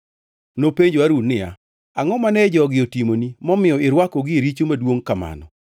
Nopenjo Harun niya, “Angʼo mane jogi otimoni momiyo irwakogi e richo maduongʼ kamano?”